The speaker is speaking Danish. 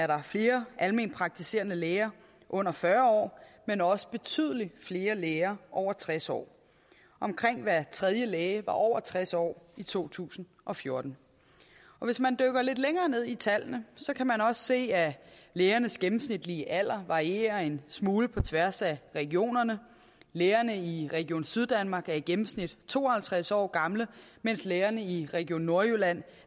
der flere almenpraktiserende læger under fyrre år men også betydelig flere læger over tres år omkring hver tredje læge var over tres år i to tusind og fjorten hvis man dykker lidt længere ned i tallene kan man også se at lægernes gennemsnitlige alder varierer en smule på tværs af regionerne lægerne i region syddanmark er i gennemsnit to og halvtreds år gamle mens lægerne i region nordjylland